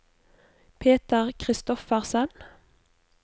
Peter Christoffersen